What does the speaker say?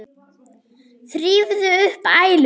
Þrífðu upp æluna.